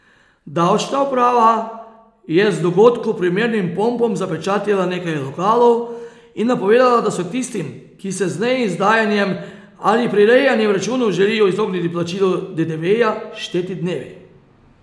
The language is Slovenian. Davčna uprava je z dogodku primernim pompom zapečatila nekaj lokalov in napovedala, da so tistim, ki se z neizdajanjem ali prirejanjem računov želijo izogniti plačilu dedeveja, šteti dnevi.